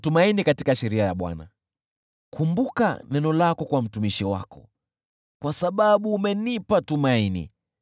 Kumbuka neno lako kwa mtumishi wako, kwa sababu umenipa tumaini.